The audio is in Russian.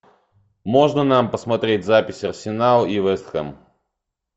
можно нам посмотреть запись арсенал и вест хэм